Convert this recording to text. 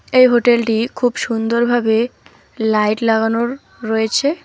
এই হোটেলটি খুব সুন্দরভাবে লাইট লাগানোর রয়েছে।